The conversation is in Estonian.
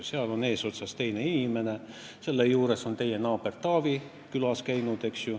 Selle eesotsas on teine inimene, kelle juures on ka teie naaber Taavi külas käinud.